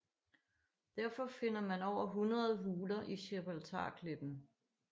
Derfor finder man over hundrede huler i Gibraltarklippen